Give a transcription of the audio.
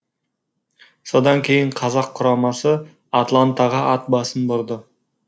содан кейін қазақ құрамасы атлантаға ат басын бұрды